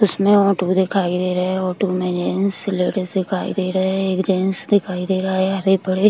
उसमे ओटो दिखाई दे रहे है ओटो में जेंट्स और लेडीज दिखाई दे रहे हैं । एक जेंट्स दिखाई दे रहा है हरे-भरे --